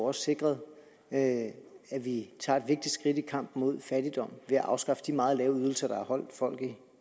også sikret at vi tager et vigtigt skridt i kampen mod fattigdom ved at afskaffe de meget lave ydelser der har holdt folk